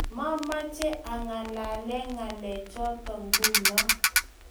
mamache angalale ngalechoto nguno